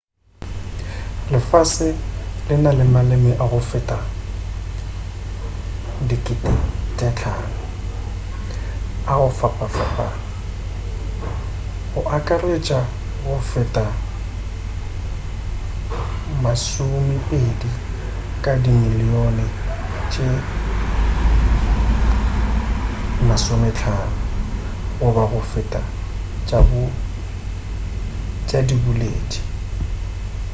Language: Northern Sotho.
lefase le na le maleme a go feta 5,000 a go fapafapana go akaretša go feta masomepedi ka dimilion tše 50 goba go feta tša diboledi